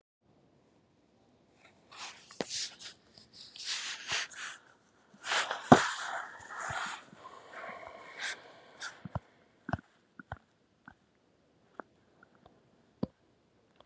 Þær geta verið þrekleysi, þróttleysi í vöðvum, beinþynning og getuleysi.